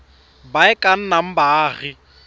ba e ka nnang baagi